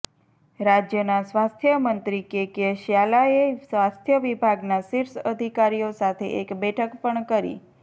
રાજ્યના સ્વાસ્થ્ય મંત્રી કે કે શ્યાલાએ સ્વાસ્થ્ય વિભાગના શીર્ષ અધિકારીઓ સાથે એક બેઠક પણ કરી